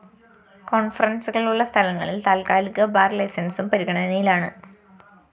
കോണ്‍ഫറന്‍സുകളുള്ള സ്ഥലങ്ങളില്‍ താത്ക്കാലിക ബാർ ലൈസന്‍സും പരിഗണനയിലാണ്